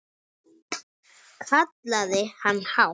kallaði hann hátt.